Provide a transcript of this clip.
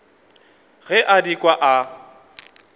ge a di kwa a